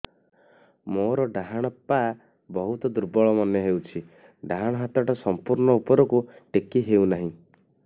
ମୋର ଡାହାଣ ପାଖ ବହୁତ ଦୁର୍ବଳ ମନେ ହେଉଛି ଡାହାଣ ହାତଟା ସମ୍ପୂର୍ଣ ଉପରକୁ ଟେକି ହେଉନାହିଁ